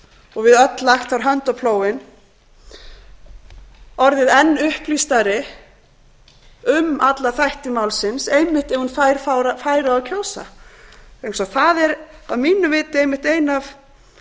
og við öll lagt þar hönd á plóginn orðið enn upplýstari um alla þætti málsins einmitt ef hún fær færi á að kjósa vegna þess að það er að mínu viti einmitt ein af